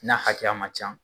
N'a hakɛya man ca